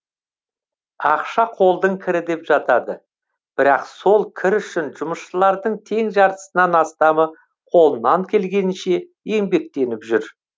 ақша қолдың кірі деп жатады бірақ сол кір үшін жұмысшылардың тең жартысынан астамы қолынан келгенінше еңбектеніп жүр